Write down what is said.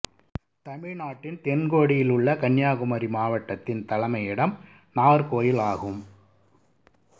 தமிழ்நாட்டின் தென் கோடியில் உள்ள கன்னியாகுமரி மாவட்டத்தின் தலைமையிடம் நாகர்கோவில் ஆகும்